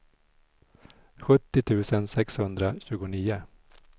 sjuttio tusen sexhundratjugonio